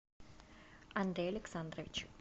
андрей александрович